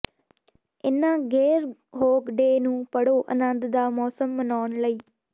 ਇਨ੍ਹਾਂ ਗੇਅਰਹੋਗ ਡੇ ਨੂੰ ਪੜ੍ਹੋ ਅਨੰਦ ਦਾ ਮੌਸਮ ਮਨਾਉਣ ਲਈ